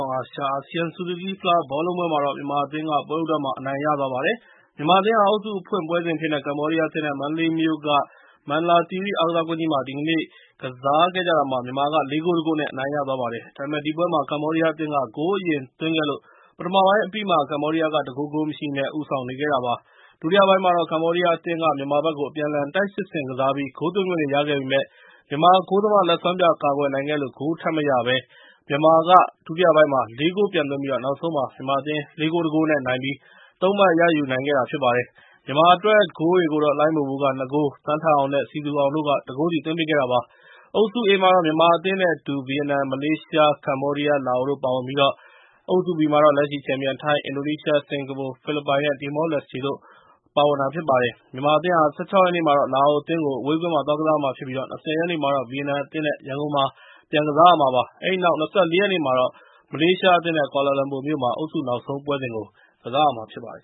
ာင်အာရှ အာဆီယံ ဆူဇူူကီးဖလားဘောလုံးပွဲမှာတော့ မြန်မာအသင်းက ပွဲဦးထွက်အနိုင်ရသွားပါတယ်။ မြန်မာအသင်းဟာ အုပ်စု အဖွင့်ပွဲစဉ်အဖြစ်နဲ့ ကမ္ဘောဒီးယားအသင်း နဲ့ မန္တလေးမြို့က မန္တလာသီရိအားကစားကွင်းကြီးမှာ ကစားကြတာမှာ မြန်မာက ၄ ဂိုး ၁ ဂိုး နဲ့ အနိုင်ရသွားခဲ့ပါတယ်။ ဒါပေမဲ့ ဒီပွဲမှာ ကမ္ဘောဒီးယားအသင်းက ဂိုးအရင်သွင်းခဲ့လို့ ပထမပိုင်းအပြီးမှာ ကမ္ဘောဒီးယားက ၁ ဂိုး ဂိုးမရှိ နဲ့ ဦးဆောင်နေခဲ့တာဖြစ်ပါတယ်။ ဒုတိယပိုင်းမှာ ကမ္ဘောဒီးယားအသင်းကလည်း ဒီပွဲမှာ မြန်မာဘက်ကို အပြန်အလှန်တိုက်စစ်ဆင်ကစားပြီး ဂိုးသွင်းခွင့်တွေရခဲ့ပေမယ့် မြန်မာဂိုးသမား လက်စွမ်းပြကာကွယ်နိုင်ခဲ့လို့ ဂိုးမရခဲ့ဘဲ မြန်မာအသင်းက ဒုတိယပိုင်းမှာ ၄ ဂိုး ပြန်သွင်းခဲ့လို့ နောက်ဆုံးမှာ မြန်မာအသင်းက ၄ ဂိုး ၁ ဂိုး နဲ့ နိုင်ပြီး ၃ မှတ် ယူနိုင်ခဲ့ပါတယ်။ မြန်မာအသင်းအတွက် ဂိုးတွေကိုတော့ လှိုင်းဘိုဘိုက ၂ ဂိုး ၊ သန်းထက်အောင် နဲ့ စည်သူအောင်တို့က ၁ ဂိုးစီ သွင်းခဲ့တာဖြစ်ါတယ်။ အုပ်စု A မှာတော့ မြန်မာအသင်း နဲ့ အတူ ဗီယက်နမ် ၊ မလေးရှား၊ ကမ္ဘေားဒီးယား ၊ လာအိုတို့ ပါဝင်ပြီး၊ အုပ်စု (B) မှာတော့ လက်ရှိချန်ပီယံ ထိုင်း၊ အင်ဒိုနီးရှား၊ စင်ကာပူ၊ ဖိလစ်ပိုင်၊ တီမောလက်စတေတို့ ပါဝင်ပါတယ်။ မြန်မာအသင်းဟာ ၁၆ ရက်နေ့မှာတော့ လာအို အသင်းကို အဝေးကွင်းမှာ သွားကစားမှာဖြစ်ပြီး ၊ ၂၀ ရက်နေ့မှာတော့ ဗီယက်နမ်အသင်း နဲ့ ရန်ကုန်မှာ ကစားမှာပါ။ အဲဒီနောက် ၂၄ ရက်နေ့မှာတော့ - မလေးရှားအသင်း နဲ့ ကွာလာလမ်ပူမြို့မှာ အုပ်စု နောက်ဆုံးပွဲစဉ်ကို ကစားရမှာဖြစ်ပါတယ်